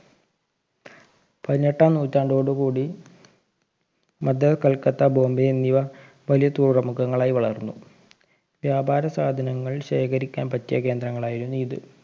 പതിനെട്ടാം നൂറ്റാണ്ടോടു കൂടി മദ്രാസ് കൊൽക്കത്ത ബോംബൈ എന്നിവ വലിയ തുറമുഖങ്ങളായ് വളർന്നു വ്യാപാര സാധനങ്ങൾ ശേഖരിക്കാൻ പറ്റിയ കേന്ദ്രങ്ങളായിരുന്നു ഇത്